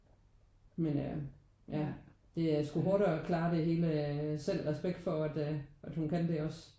Men øh ja det er sgu hårdt at klare det hele selv. Respekt for at at hun kan det også